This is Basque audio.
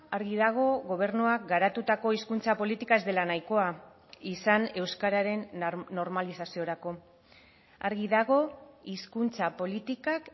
argi dago gobernuak garatutako hizkuntza politika ez dela nahikoa izan euskararen normalizaziorako argi dago hizkuntza politikak